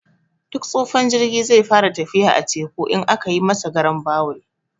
Duk tsufan jirgi zai fara tafiya a teku, in aka yi masa garan bawul.